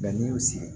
n'i y'u sigi